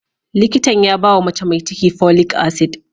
Likitan ya bawa mace mai ciki folic acid.